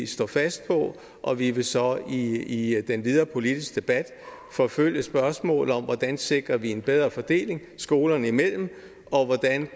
stå fast på og vi vil så i den videre politiske debat forfølge spørgsmålet om hvordan vi sikrer en bedre fordeling skolerne imellem og hvordan